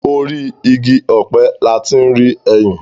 Orí igi ọ̀pẹ la ti ń rí ẹyìn.